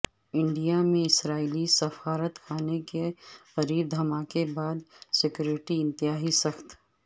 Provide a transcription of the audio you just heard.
India میں اسرائیلی سفارت خانے کے قریب دھماکے بعد سکیورٹی انتہائی سخت